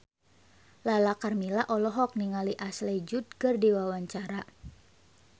Lala Karmela olohok ningali Ashley Judd keur diwawancara